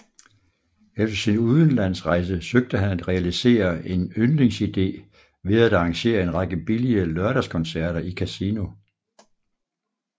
Efter sin udenlandsrejse søgte han at realisere en yndlingsidé ved at arrangere en række billige lørdagskoncerter i Casino